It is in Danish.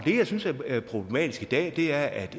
det jeg synes er problematisk i dag er at